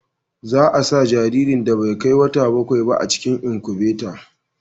za a sa jaririn da bai kai wata bakwai ba a cikin inkubata